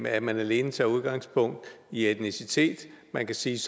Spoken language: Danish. at man alene tager udgangspunkt i etnicitet man kan sige